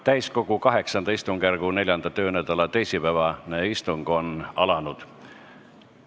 Täiskogu VIII istungjärgu 4. töönädala teisipäevane istung on alanud.